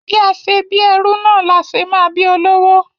Bí a ṣe bí ẹrú náà la ṣe máa bí olówó.